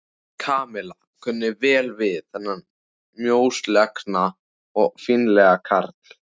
Kamilla kunni vel við þennan mjóslegna og fínlega karl.